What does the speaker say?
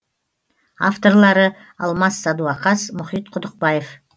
авторлары алмас садуақас мұхит құдықбаев